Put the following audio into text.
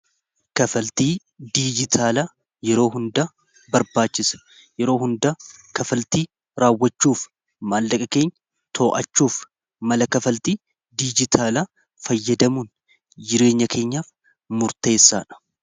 kaffaltii diijitaalaa yeroo hundaa barbaachisa. yeroo hundaa kaffaltii raawwachuuf maallaqa keenya too'achuuf mala kafaltii diijitaalaa fayyadamuun jireenya keenyaaf murteessaadha.